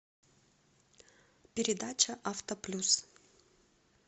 передача авто плюс